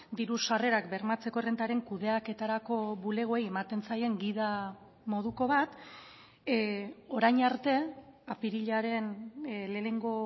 diru sarrerak bermatzeko errentaren kudeaketarako bulegoei ematen zaien gida moduko bat orain arte apirilaren lehenengo